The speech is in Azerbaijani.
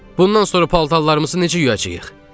Bundan sonra paltarlarımızı necə yuyacağıq?